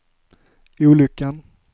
olyckan